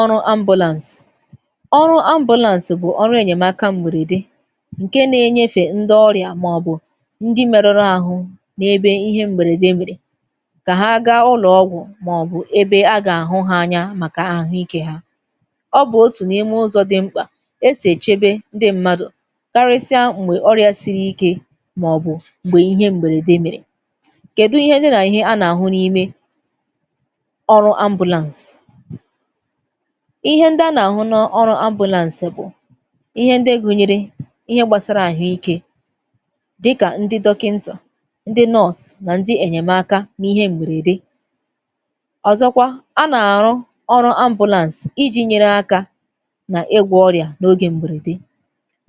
Ọrụ ambulance. Ọrụ ambulance bụ̀ ọrụ ènyèmaka m̀bèrèdè ǹke na-enyèfè ǹdị ọrịa màọbụ ǹdị merụrụ àhụ n’ebe ihe m̀bèrèdè mèrè kà ha gaa ụlọ̀ọgwụ̇ màọbụ ebe a gà-àhụ ha anya màkà àhụike ha. Ọ bụ̀ otù n’ime ụzọ dị mkpà esì èchèbè ǹdị m̀madụ karịsịa m̀bè ọrịa siri ike màọbụ m̀bè ihe m̀bèrèdè mèrè. Kèdụ ihe dị nà ihe a nà-àhụ n’ime ọrụ ambulance? Ihe ndị à nà-ahụ n’ọrụ ambulance bụ̀ ihe ndị gùnyere ihe gbàsara àhụike dịkà ndị dọkịntà, ndị nurse, nà ndị ènyèmaka n’ihe m̀bèrèdè. Ọzọ̀kwa a nà-arụ ọrụ ambulance iji̇ nyere aka nà ịgwọ ọrịa n’ogè m̀bèrèdè.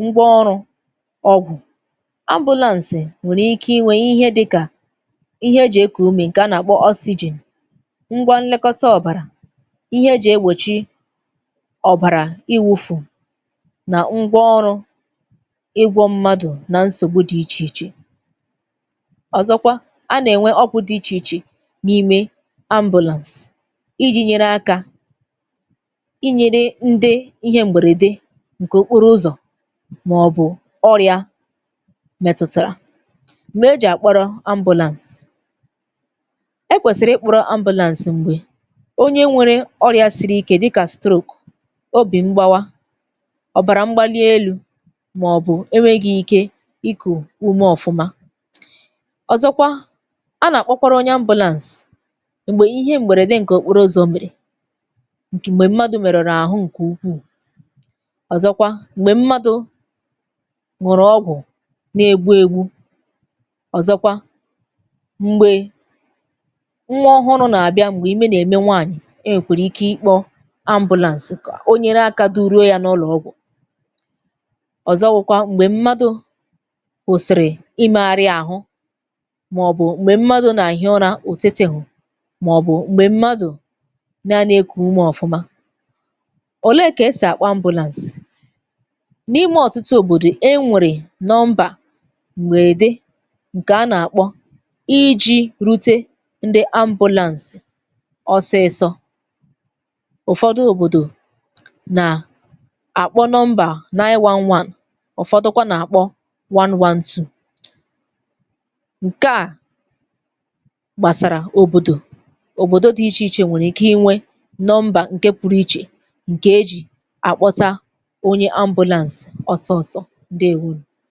Ngwa ọrụ ọgwụ; ambulance nwèrè ike inwè ihe dịkà ihe eji̇ ekù ume ǹkè a nà-àkpọ oxygen ngwa nlekọta ọ̀bàrà ihe eji egbòchi ọbàrà iwufuù nà ngwa ọrụ ịgwọ mmadụ̀ nà nsògbu dị ichè ichè. Ọzọkwa, a nà-enwe ọgwụ dị ichèichè n’ime ambulance iji̇ nyere aka inyere ndị ihe m̀bèrèdè ǹkè okporo ụzọ màọbụ ọrịa mètùtàrà. Mgbe eji̇ àkpọrọ ambulance; e kwèsìrì ịkpọrọ ambulance m̀gbè onye nwere ọrị̇a ssiri oke dịka stroke, obì mgbawa, ọ̀bàrà mgbalielu, màọbụ̇ enweghi ike ikù ume ọfụma. Ọzọ̀kwa a nà-akpọkwara onye ambulance m̀gbè ihe m̀bèrède ǹkè okporo ozò mèrè ǹkè mgbe m̀madụ merùrù àhụ ǹkè ukwuù. Ọzọ̀kwa m̀gbè m̀madụ̇ ñụ̀rụ̀ ọgwụ nà-egbu egbu, ọ̀zọ̀kwa m̀gbè nwa ọhụrụ nà-àbịa m̀gbè ime nà-eme nwaanyị̀ e nwekwere ike ịkpọ ambulance kà o nyere aka duruo ya n’ụlọ̀ ọgwụ̀. Ọzọwụkwa m̀gbè mmadụ kwụ̀sị̀rị̀ imegharị àhụ màọbụ m̀gbè mmadụ̇ nà-ehi ụra òtetehù, màọbụ m̀gbè mmadụ naanị ekù umè ọfụma. Òle kà esì àkpọ ambulance? N’ime ọ̀tụtụ òbòdò e nwèrè nọmbà m̀gbè dị ǹkè a nà-akpọ iji̇ rute ndị ambulance ọsịsọ. Ụfọdụ òbòdò nà-àkpọ number nine one one ụfọdụkwa nà-akpọ one one two. Nkẹ̀ à gbàsàrà òbòdò, òbòdo dị ichè ichè nwèrè ike inwe number ǹkẹ̀ pụrụ ichè ǹke eji àkpọta onye ambulance ọsọ ọsọ, ǹdeèwonù.